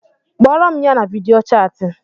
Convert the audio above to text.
Kporo m ya na video chati